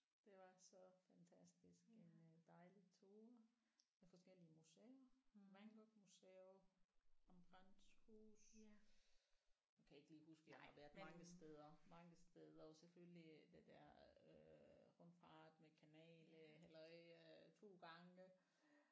Det var så fantastisk med dejlige ture af forskellige museer Van Gogh museum Anne Franks hus nu kan jeg ikke lige huske jeg har været mange steder mange steder og selvfølgelig det der øh rundfart med kanal øh halløj 2 gange